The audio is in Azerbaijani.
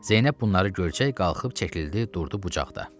Zeynəb bunları görcək qalxıb çəkildi, durdu bucaqda.